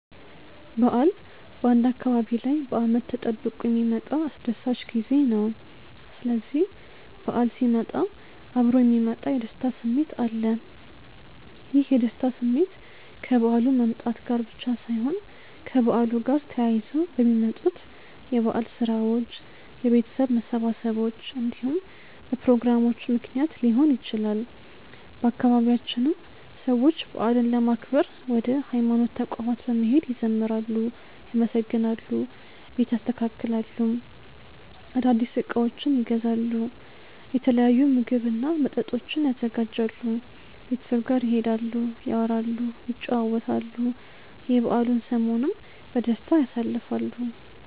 በዓል በአንድ አካባቢ ላይ በአመት ተጠብቆ የሚመጣ አስደሳች ጊዜ ነው። ስስዚህ በዓል ሲመጣ እብሮ የሚመጣ የደስታ ስሜት አለ። ይህ የደስታ ስሜት ከበዓሉ መምጣት ጋር ብቻ ሳይሆን ከበዓሉ ጋር ተያይዘው በሚመጡት የበዓል ስራዎች፣ የቤተሰብ መሰባሰቦች እንዲሁም በፕሮግራሞቹ ምክንያት ሊሆን ይችላል። በአባቢያችንም ሰዎች በዓልን ለማክበር ወደ ሀይማኖት ተቋማት በመሄድ ይዘምራሉ፣ ያመሰግናሉ፣ ቤት ያስተካክላሉ፣ አዳዲስ እቃዎችን ይገዛሉ፣ የተለያዩ ምግብ እና መጠጦችን ያዘጋጃሉ፣ ቤተሰብ ጋር ይሄዳሉ፣ ያወራሉ፣ ይጨዋወታሉ፣ የበዓሉን ሰሞንም በደስታ ያሳልፋሉ።